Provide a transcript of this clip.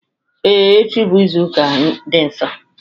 Ee, echi bụ izuka ndị Nọọsụ